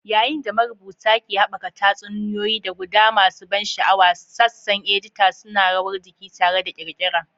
Yayin da marubuta ke haɓaka tatsuniyoyi da guda masu ban sha'awa, sassan edita suna rawar jiki tare da ƙirƙira.